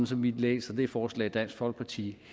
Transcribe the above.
som vi læser det forslag dansk folkeparti